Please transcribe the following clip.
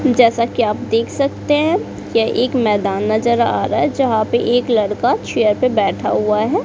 जैसा कि आप देख सकते हैं यह एक मैदान नजर आ रहा है। जहां पे एक लड़का चेयर पर बैठा हुआ है।